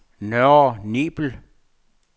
Nørre Nebel